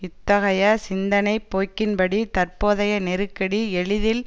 இத்தகைய சிந்தனை போக்கின்படி தற்போதைய நெருக்கடி எளிதில்